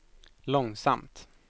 långsamt